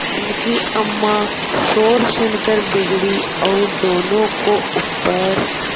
उनकी अम्मां शोर सुनकर बिगड़ी और दोनों को ऊपर